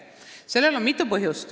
Sellel on mitu põhjust.